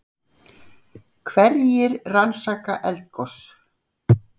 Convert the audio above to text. Hverjir rannsaka eldgos?